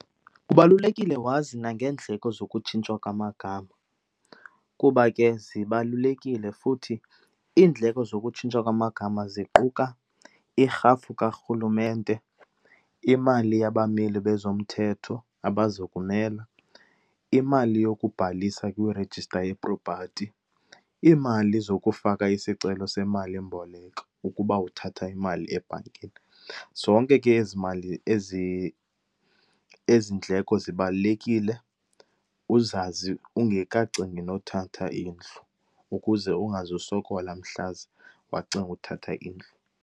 Kubalulekile wazi nangeendleko zokutshintshwa kwamagama kuba ke zibalulekile futhi iindleko zokutshintshwa kwamagama, ziquka irhafu kaRhulumente, imali yabameli bezomthetho abazokumela, imali yokubhalisa kwirejista yepropathi, iimali zokufaka isicelo semalimboleko ukuba uthatha imali ebhankini. Zonke ke ezi mali, ezi, ezi ndleko zibalulekile uzazi ungekacingi nothatha indlu ukuze ungazusokola mhlaze wacinga uthatha indlu.